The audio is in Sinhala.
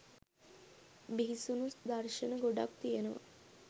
බිහිසුණු දර්ශන ගොඩාක් තියනවා